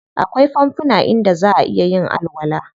Akwai fanfuna inda zaʼa iya yin alwala.